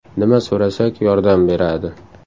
Nima so‘rasak yordam beradi.